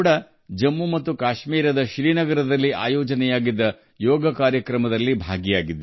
ಜಮ್ಮು ಕಾಶ್ಮೀರದ ಶ್ರೀನಗರದಲ್ಲಿ ಆಯೋಜಿಸಿದ್ದ ಯೋಗ ಕಾರ್ಯಕ್ರಮದಲ್ಲಿ ನಾನು ಭಾಗವಹಿಸಿದ್ದೆ